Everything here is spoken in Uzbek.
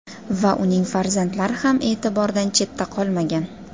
va uning farzandlari ham e’tibordan chetda qolmagan.